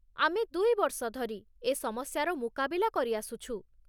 ଆମେ ଦୁଇ ବର୍ଷ ଧରି ଏ ସମସ୍ୟାର ମୁକାବିଲା କରିଆସୁଛୁ।